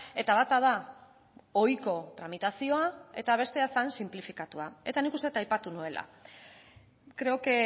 eta bata da ohiko tramitazioa eta bestea zen sinplifikatua eta nik uste dut aipatu nuela creo que